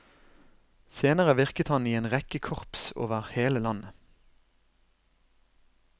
Senere virket han i en rekke korps over hele landet.